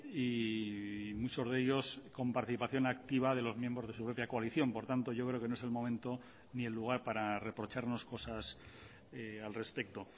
y muchos de ellos con participación activa de los miembros de su propia coalición por tanto yo creo que no es el momento ni el lugar para reprocharnos cosas al respecto